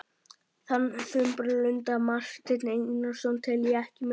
Þann þumbaralega lunda, Martein Einarsson, tel ég ekki með!